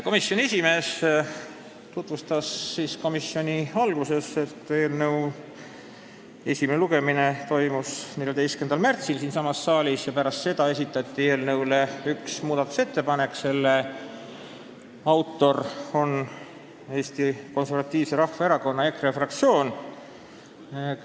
Komisjoni esimees ütles komisjoni istungi alguses, et eelnõu esimene lugemine toimus siinsamas saalis 14. märtsil ja pärast seda esitati eelnõu kohta üks muudatusettepanek, mille autor on Eesti Konservatiivse Rahvaerakonna fraktsioon.